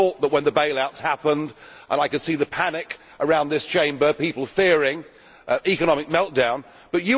I thought that when the bailouts happened and I could see the panic around this Chamber, with people fearing economic meltdown... But